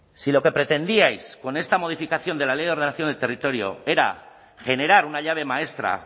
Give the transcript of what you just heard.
si lo que pretendíais con esta modificación de la ley de ordenación del territorio era generar una llave maestra